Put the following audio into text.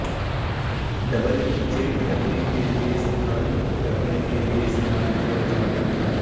double check کرنے کے لئے استعمال کرنے کے لئے استعمال کیا جاتا جملے